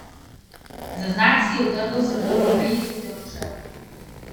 Za znak si je utrgal srebrno vejico ter odšel.